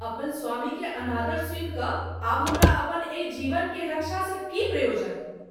अपन स्वामी के अनादर सुनि क’ आब हमरा अपन एहि जीवन के रक्षा सँ की प्रयोजन।